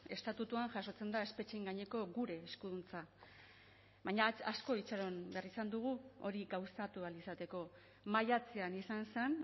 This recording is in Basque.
estatutuan jasotzen da espetxeen gaineko gure eskuduntza baina asko itxaron behar izan dugu hori gauzatu ahal izateko maiatzean izan zen